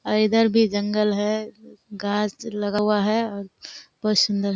और इधर भी जंगल है। गाछ लगा हुआ है और बहुत सुन्दर है।